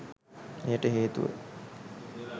එයට හේතුව